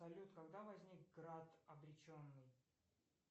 салют когда возник град обреченный